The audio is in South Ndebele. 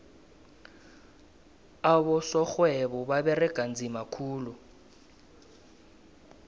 abosorhwebo baberega nzima khulu